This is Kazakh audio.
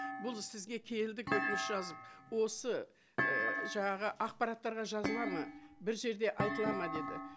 бұл сізге келдік өтініш жазып осы і жаңағы ақпараттарға жазылады ма бір жерде айтылады ма деді